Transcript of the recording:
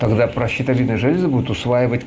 когда про щитовидные железы будет усваивать